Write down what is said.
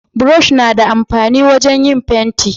burosh na da amfani wajen yin fenti